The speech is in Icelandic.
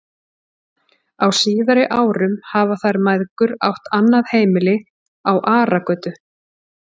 Á síðari árum hafa þær mæðgur átt annað heimili á Aragötu.